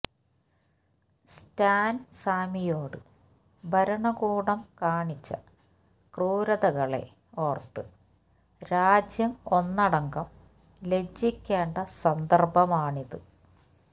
Stan സ്വാമിയോട് ഭരണകൂടം കാണിച്ച ക്രൂരതകളെ ഓർത്ത് രാജ്യം ഒന്നടങ്കം ലജ്ജിക്കേണ്ട സന്ദർഭമാണിത്